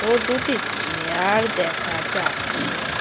ও দুটি চেয়ার-র-র দেখা যাচ্ছে ।